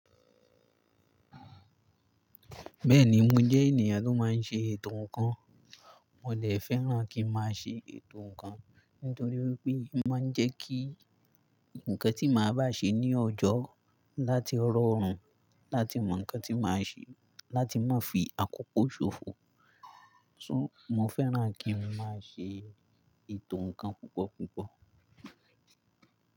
Bẹ́ẹ̀ni, mo jẹ́ ènìyàn tó máa ń ṣe ètò ǹkan. Mò dè fẹ́ràn kí máa ṣe ètò ǹkan nítorí wípé máa ń jẹ́ kí ǹkan tí màá bá ṣe ní ọjọ́ láti rọrùn, láti mọ ǹkan tí màá ṣe, láti má fi àkókò ṣòfò. Sọ, mo fẹ́ràn kí n máa ṣe ètò ǹkan púpọ̀ púpọ̀